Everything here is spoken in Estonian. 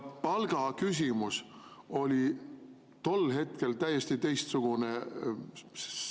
Palgaküsimus oli tol ajal täiesti teistsugune.